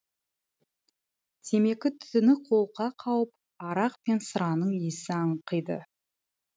темекі түтіні қолқа қауып арақ пен сыраның иісі аңқиды